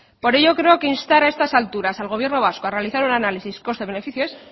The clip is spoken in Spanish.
por ello creo que instar a estas alturas al gobierno vasco a realizar un análisis coste beneficio es